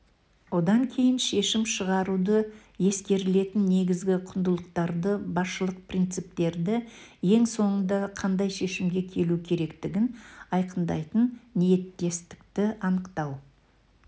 одан кейін шешім шығаруда ескерілетін негізгі құндылықтарды басшылық принциптерді ең соңында қандай шешімге келу керектігін айқындайтын ниеттестікті анықтау